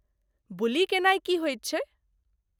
बुली केनाई की होइत छै?